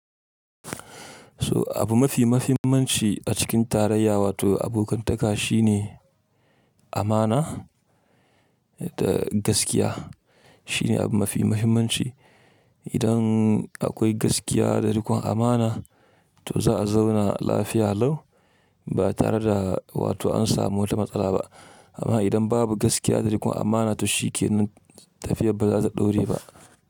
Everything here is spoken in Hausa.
So abu mafi mahimmanci a cikin tarayya wato abokantaka shine amana da gaskiya. Shine abu mafi muhimmanci. Idan akwai gaskiya da rikon amana to za a zauna lafiya lau ba tare da wato an samu wata matsala ba. Amma idan babu gaskiya da rikon amana to shikenan tafiyar ba za ta ɗore ba.